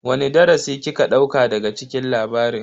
Wani darasi kika dauka daga cikin labarin?